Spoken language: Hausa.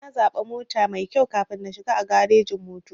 Sai na zaɓa mota maikyau kafin na shiga a garejin-motoci.